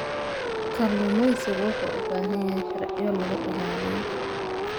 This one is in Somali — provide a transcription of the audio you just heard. Kalluumeysigu wuxuu u baahan yahay sharciyo lagu ilaaliyo.